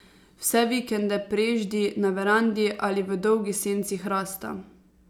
Vse vikende preždi na verandi ali v dolgi senci hrasta.